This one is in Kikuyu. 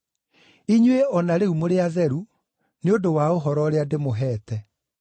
Inyuĩ o na rĩu mũrĩ atheru nĩ ũndũ wa ũhoro ũrĩa ndĩmũheete.